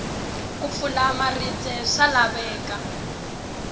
ku pfula maribye swa laveka